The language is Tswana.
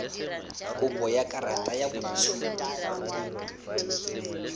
kopo ya karata ya boitshupo